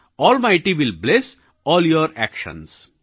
almighty will bless all your actions